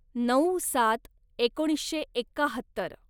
नऊ सात एकोणीसशे एक्काहत्तर